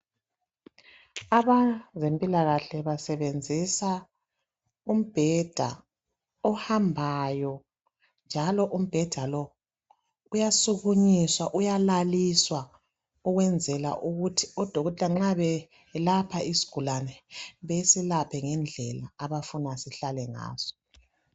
Abezempilakahle basebenzisa umbheda ohambayo njalo umbheda lowu uyasukunyiswa uyalaliswa ukwenzela ukuthi odokotela nxa beselapha isigulane besilaphe ngendlela abafuna sihlale ngaso